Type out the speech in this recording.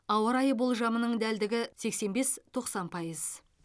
ауа райы болжамының дәлдігі сексен бес тоқсан пайыз